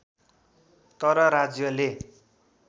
तर राज्यले